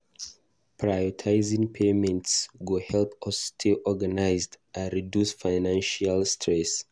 Prioritizing payments go help us stay organized and reduce financial stress.